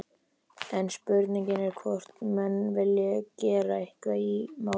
En spurningin er hvort menn vilji gera eitthvað í málunum?